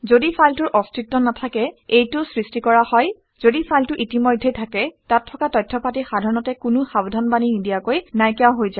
ঘদি ফাইলটোৰ অস্তিত্ব নাথাকে এইটো সৃষ্টি কৰা হয়। যদি ফাইলটো ইতিমধ্যেই থাকে তাত থকা তথ্য পাতি সাধাৰণতে কোনো সাৱধানবাণী নিদিয়াকৈ নাইকিয়া হৈ যায়